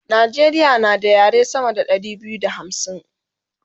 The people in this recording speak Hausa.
Najeriya na da yare sama da Ɗari biyu da hamsin